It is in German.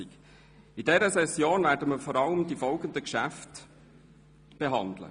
In dieser Session werden wir vor allem die folgenden Geschäfte behandeln: